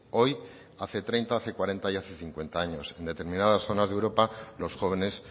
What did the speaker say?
hoy hace treinta hace cuarenta y hace cincuenta años en determinadas zonas de europa los jóvenes